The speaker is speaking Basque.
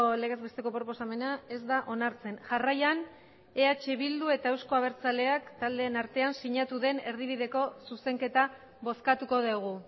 legezbesteko proposamena ez da onartzen jarraian eh bildu eta euzko abertzaleak taldeen artean sinatu den erdibideko zuzenketa bozkatuko dugu